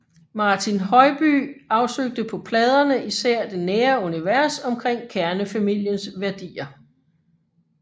Martin Høybye afsøgte på pladerne især det nære univers omkring kernefamiliens værdier